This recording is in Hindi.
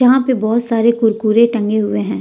यहां पे बहुत सारे कुरकुरे टंगे हुए हैं।